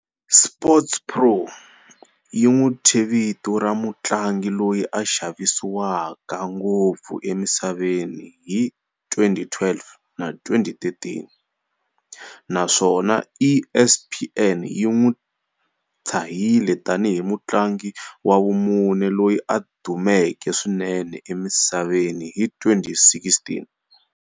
"SportsPro" yi n'wi thye vito ra mutlangi loyi a xavisiwaka ngopfu emisaveni hi 2012 na 2013, naswona ESPN yi n'wi tshahile tanihi mutlangi wa vumune loyi a dumeke swinene emisaveni hi 2016.